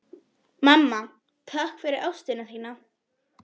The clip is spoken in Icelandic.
Mamma, takk fyrir ást þína.